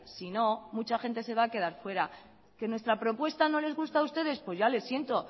sino mucha gente se va a quedar fuera que nuestra propuesta no les gusta a ustedes pues ya lo siento